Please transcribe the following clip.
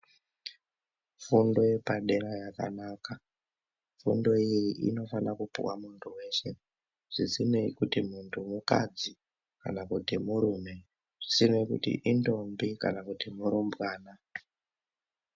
Fundo yepadera yakanaka. Fundo iyi inofana kupuwa muntu weshe zvisinei kuti muntu mukadzi kana kuti murume, zvisinei kuti indombi kana kuti murumbwana.